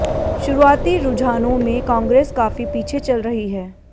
शुरुआती रुझानों में कांग्रेस काफी पीछे चल रही है